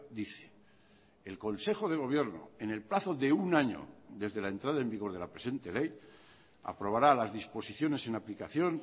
dice el consejo de gobierno en el plazo de un año desde la entrada en vigor de la presente ley aprobará las disposiciones en aplicación